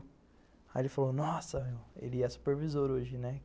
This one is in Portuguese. Aí ele falou, nossa, ele é supervisor hoje, né?